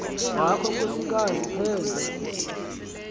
wakho nkosikazi penjwa